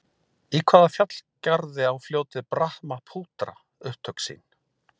Í hvaða fjallgarði á fljótið Brahmaputra upptök sín?